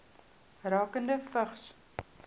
rakende vigs